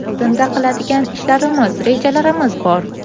Oldinda qiladigan ishlarimiz, rejalarimiz bor.